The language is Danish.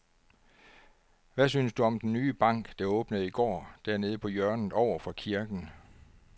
Hvad synes du om den nye bank, der åbnede i går dernede på hjørnet over for kirken?